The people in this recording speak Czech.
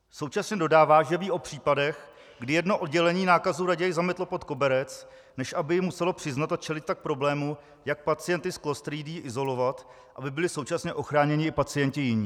Současně dodává, že ví o případech, kdy jedno oddělení nákazu raději zametlo pod koberec, než aby ji muselo přiznat a čelit tak problému, jak pacienty s klostridií izolovat, aby byli současně ochráněni i pacienti jiní.